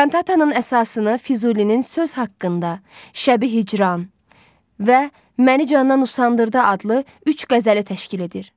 Kantatanın əsasını Füzulinin söz haqqında, Şəbi Hicran və məni candan usandırdı adlı üç qəzəli təşkil edir.